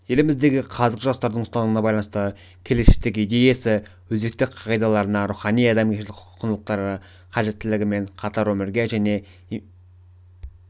еліміздегі қазіргі жастардың ұстанымына байланысты келешектегі идеясы өзекті қағидалары рухани-адамгершілік құндылықтар қажеттілігі мен қатар өмірге және